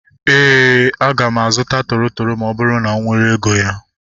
Éè, aga m azụta toro toro ma ọ bụrụ na m nwere ego ya